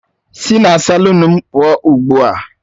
Sị na salụnu m pụọ ugbu a!